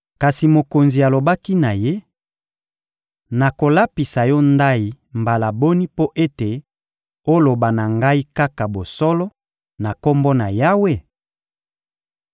Kasi mokonzi alobaki na ye: — Nakolapisa yo ndayi mbala boni mpo ete oloba na ngai kaka bosolo, na Kombo na Yawe?